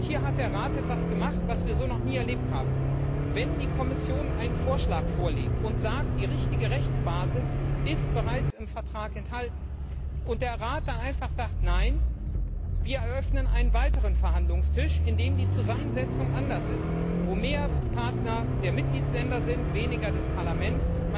Und hier hat der Rat etwas gemacht, was wir so noch nie erlebt haben Die Kommission hat einen Vorschlag vorgelegt und gesagt, die richtige Rechtsbasis ist bereits im Vertrag enthalten, und der Rat hat dann einfach gesagt, nein, wir eröffnen einen weiteren Verhandlungstisch, an dem die Zusammensetzung anders ist, wo mehr Partner der Mitgliedstaaten sind, weniger des Parlaments.